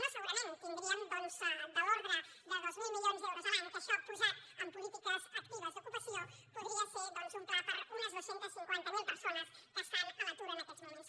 no segurament tindríem de l’ordre de dos mil milions d’euros l’any que això posat en polítiques actives d’ocupació podria ser un pla per a unes dos cents i cinquanta miler persones que estan a l’atur en aquests moments